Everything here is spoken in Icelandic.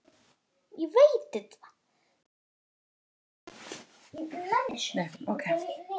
Hver var ástæðan fyrir því?